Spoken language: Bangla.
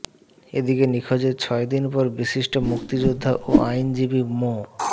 এদিকে নিখোঁজের ছয়দিন পর বিশিষ্ট মুক্তিযোদ্ধা ও আইনজীবী মো